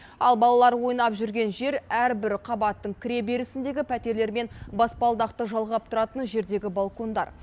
ал балалар ойнап жүрген жер әрбір қабаттың кіреберісіндегі пәтерлермен баспалдақты жалғап тұратын жердегі балкондар